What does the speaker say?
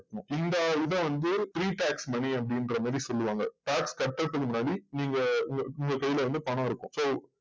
இந்த இத வந்து pre tax money அப்டின்ற மாறி சொல்லுவாங்க tax கட்றதுக்கு முன்னாடி நீங்க உங் உங்க கைல வந்து பணம் இருக்கும் so